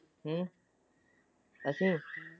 ਹੁ ਅਸੀਂ।